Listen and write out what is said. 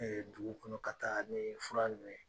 dugu kɔnɔ ka taa nii fura nunnu ye.